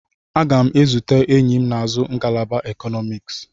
Aga m ezute enyi m na-azụ ngalaba Ekọnọmiks.